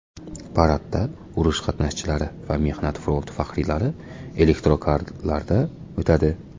Paradda urush qatnashchilari va mehnat fronti faxriylari elektrokarlarda o‘tadi.